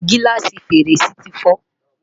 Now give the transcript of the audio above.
giláasi fèrèsé ti fo